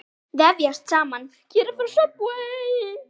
Vefjast saman.